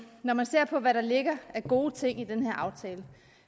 når man ser på hvad der ligger af gode ting i den her aftale